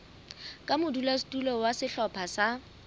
ka modulasetulo wa sehlopha sa